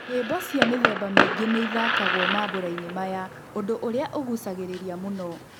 Nyĩmbo cia mĩthemba mĩingĩ nĩithakagwo mambũrainĩ maya, ũndũ ũrĩa ũgucagĩrĩria muno.